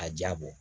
A jaa bɔ